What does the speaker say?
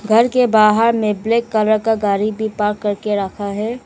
घर के बाहर में ब्लैक कलर का गाड़ी भी पार्क करके रखा है।